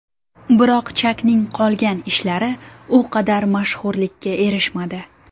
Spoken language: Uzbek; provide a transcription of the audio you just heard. Biroq Chakning qolgan ishlari u qadar mashhurlikka erishmadi.